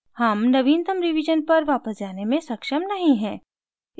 हम नवीनतम रिवीजन पर वापस जाने में सक्षम नहीं हैं